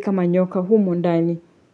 kama nyoka humo ndani.